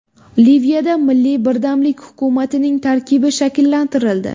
Liviyada milliy birdamlik hukumatining tarkibi shakllantirildi.